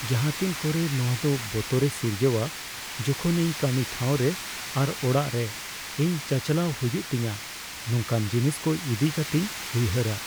ᱡᱟᱦᱟᱸᱛᱤᱱ ᱠᱚᱨᱮ ᱱᱚᱶᱟ ᱫᱚ ᱵᱚᱛᱚᱨᱮ ᱥᱤᱨᱡᱟᱹᱣᱟ ᱡᱚᱠᱷᱚᱱ ᱤᱧ ᱠᱟᱹᱢᱤ ᱴᱷᱟᱶᱨᱮ ᱟᱨ ᱚᱲᱟᱜ ᱨᱮ ᱤᱧ ᱪᱟᱪᱟᱞᱟᱣ ᱦᱩᱭᱩᱜ ᱛᱤᱧᱟᱹ ᱱᱚᱝᱠᱟᱱ ᱡᱤᱱᱤᱥ ᱠᱚ ᱤᱫᱤ ᱠᱟᱹᱛᱤᱧ ᱩᱭᱦᱟᱹᱨᱟ ᱾